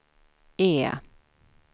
E